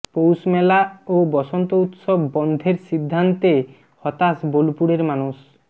পৌষমেলা ও বসন্ত উৎসব বন্ধের সিদ্ধান্তে হতাশ বোলপুরের মানুষ